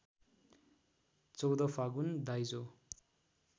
१४ फागुन दाइजो